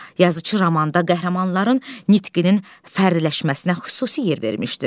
Yazıçı romanda qəhrəmanların nitqinin fərdləşməsinə xüsusi yer vermişdir.